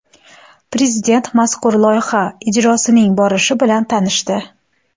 Prezident mazkur loyiha ijrosining borishi bilan tanishdi.